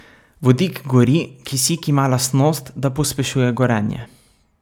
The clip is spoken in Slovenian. Vodik gori, kisik ima lastnost, da pospešuje gorenje.